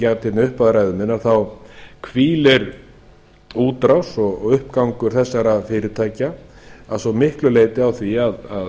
sagði í upphafi ræðu minnar hvílir útrás og uppgangur þessara fyrirtækja að svo miklu leyti á því að